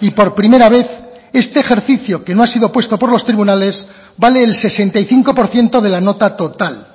y por primera vez este ejercicio que no ha sido puesto por los tribunales vale el sesenta y cinco por ciento de la nota total